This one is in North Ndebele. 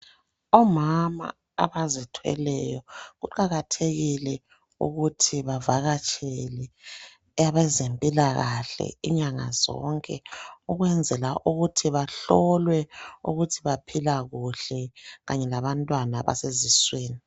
Omama abazithweleyo kuqakathekile ukuthi bavakatshele abezempilakahle inyanga zonke ukwenzela ukuthi bahlolwe ukuthi baphila kuhle kanye labantwana abaseziswini.